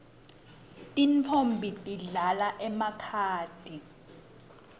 tintfombi tidlala emakhadi